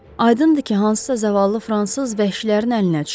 Aydındır ki, hansısa zavallı fransız vəhşilərin əlinə düşüb.